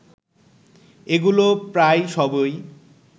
এগুলো প্রায় সবই